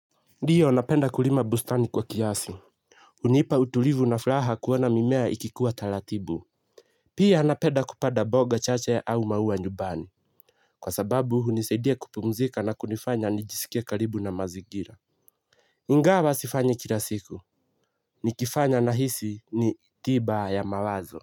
Ndiyo, napenda kulima bustani kwa kiasi. Unipa utulivu na furaha kuona mimea ikikuwa taratibu. Pia, napenda kupanda mboga chache au maua nyumbani. Kwa sababu hunisaidia kupumzika na kunifanya nijisikie karibu na mazingira. Ingawa sifanyi kila siku. Nikifanya nahisi ni tiba ya mawazo.